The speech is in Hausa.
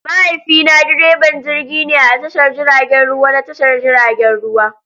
Mahaifina direban jirgi ne a tashar jiragen ruwa na tashar jiragen ruwa.